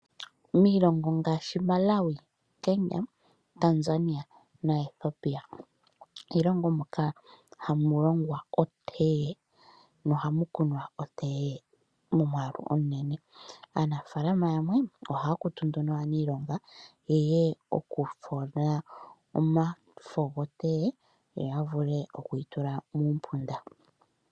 Miilongo ngashi Malawi, Kenya, Tanzania naEthiopia iilongo moka hamu longwa oteye, mo ohamu kunwa oteye momwaalu omunene. Aanafalama yamwe ohaya kutu nduno aanilonga yeye okufola omafo goteye, yoya vule okuyi tula muumpunda.